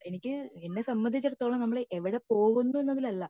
എനിക്ക് എന്നെ സംബന്ധിച്ചിടത്തോളം എനിക്ക് എവിടെ പോവുന്നു എന്നതിലല്ല